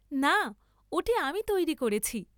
না ওটি আমি তৈরি করেছি।